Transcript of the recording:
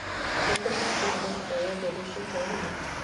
nĩ kũrĩ na programu o yothe rũciũ hwaĩ-inĩ?